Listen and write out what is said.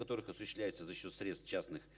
которых осуществляется за счёт средств частных